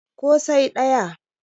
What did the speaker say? ko sai daya